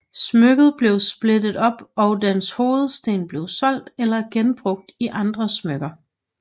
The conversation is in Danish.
Smykket blev splittet op og dens hovedsten blev solgt eller genbrugt i andre smykker